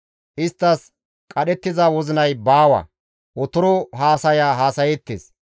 Isttas qadhettiza wozinay baawa; otoro haasaya haasayeettes.